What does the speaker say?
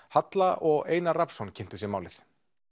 halla og Einar Rafnsson kynntu sér málið